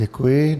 Děkuji.